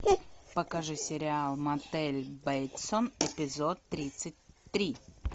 покажи сериал мотель бейтсов эпизод тридцать три